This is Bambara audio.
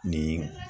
Nin